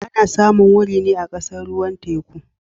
Ana samun wuri ne a kasar ruwan teku